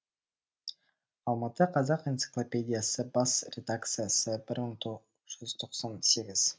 алматы қазақ энциклопедиясы бас редакциясы бір мың тоғыз жүз тоқсан сегіз